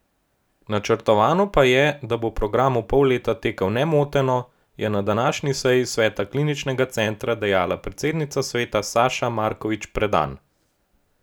Načrtovano pa je, da bo program v pol leta tekel nemoteno, je po današnji seji sveta kliničnega centra dejala predsednica sveta Saša Markovič Predan.